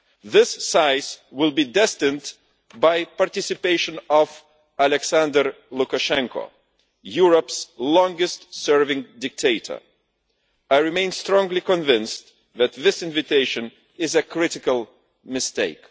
This size will be destined by the participation of Alexander Lukashenko, Europe's longest serving dictator. I remain strongly convinced that this invitation is a critical mistake.